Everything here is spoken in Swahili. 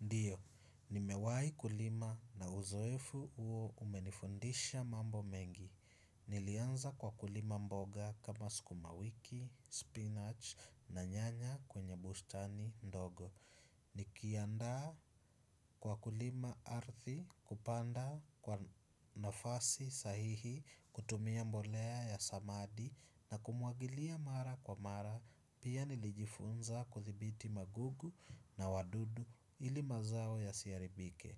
Ndiyo, nimewahi kulima na uzoefu huo umenifundisha mambo mengi. Nilianza kwa kulima mboga kama sukuma wiki, spinach na nyanya kwenye bustani ndogo. Nikiandaa kwa kulima ardhi kupanda kwa nafasi sahihi kutumia mbolea ya samadi na kumwagilia mara kwa mara. Pia nilijifunza kudhibiti magugu na wadudu ili mazao yasiharibike.